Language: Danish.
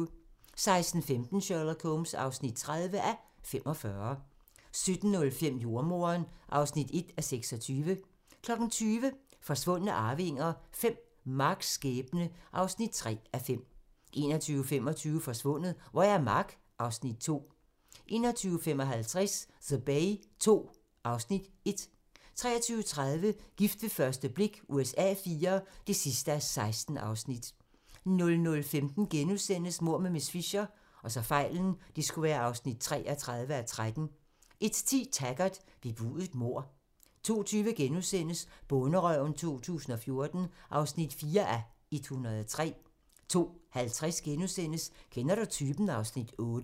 16:15: Sherlock Holmes (30:45) 17:05: Jordemoderen (1:26) 20:00: Forsvundne arvinger V: Marcs skæbne (3:5) 21:25: Forsvundet - hvor er Mark? (Afs. 2) 21:55: The Bay II (Afs. 1) 23:30: Gift ved første blik USA IV (16:16) 00:15: Mord med miss Fisher (33:13)* 01:10: Taggart: Bebudet mord 02:20: Bonderøven 2014 (4:103)* 02:50: Kender du typen? (Afs. 8)*